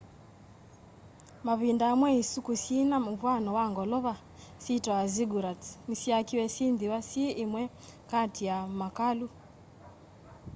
mavĩnda amwe ĩsũkũũ syĩna mũvwano wa ngolova syitawa zĩggũrats nĩsyakĩwe syĩthĩwe syĩ ĩmwe katĩ ya makalũ